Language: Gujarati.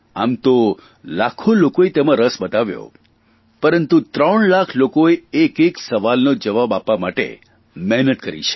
આમ તો લાખો લોકોએ તેમાં રસ બતાવ્યો પરંતુ ત્રણ લાખ લોકોએ એકએક સવાલનો જવાબ આપવા માટે મહેનત કરી છે